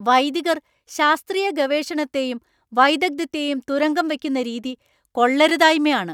വൈദികർ ശാസ്ത്രീയ ഗവേഷണത്തെയും വൈദഗ്ധ്യത്തെയും തുരങ്കം വയ്ക്കുന്ന രീതി കൊള്ളരുതായ്മയാണ്.